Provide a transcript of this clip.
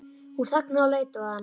Hún þagnaði og leit á hann.